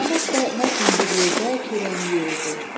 Namərd də Mərdlə bir yerdə çörəyini yeyirdi.